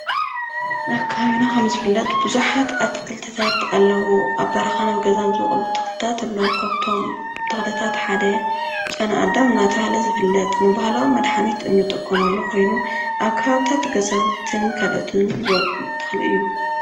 ኣብ ከባቢና ኸም ዝፍለጥ ቡዙሓት ኣትክልትታት ኣለዉ፡፡ ኣብ በረኻን ገዛን ዝወቅሉ ተኽልታት ኣለዉ፡፡ ካብቶም ተኽልታት ሓደ ጨናኣዳም እናተባሃለ ዝፍለጥ ንባህላዊ መድሓኒት እንጥቀመሉ ኾይኑ ኣብ ከባባታት ገዛውትን ካልኦትን ዝወቅል ተኽሊ እዩ፡፡